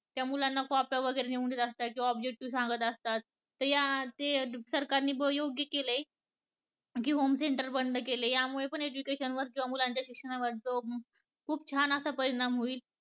त्या मुलांना कॉप्या वगैरे नेऊन देतात कवा त्यातले objective सांगतात ते, ते सरकार ने योग्य केलय की home center बंद केले या मुळे पण education वर किंवा मुलांच्या शिक्षणावर खूप छान असा परिणाम होईल